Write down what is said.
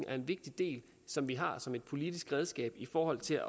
er en vigtig del som vi har som et politisk redskab i forhold til